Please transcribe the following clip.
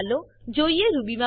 ચાલો હવે જોઈએ રૂબી